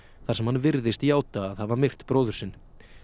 þar sem hann virðist játa að hafa myrt bróður sinn